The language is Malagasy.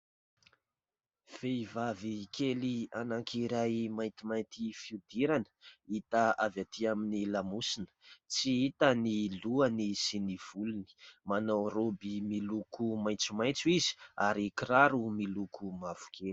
Vehivavy kely anakiray maintimainty fihodirana hita avy aty aminy lamosiny. Tsy hita ny lohany sy ny volony. Manao raoby miloko maitsomaitso izy ary kiraro miloko mavokely.